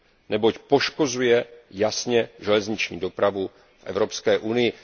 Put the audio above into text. neboť poškozuje jasně železniční dopravu v Evropské unii.